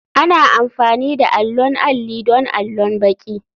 Ana amfani da allon alli don allon baki.